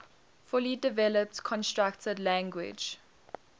fully developed constructed language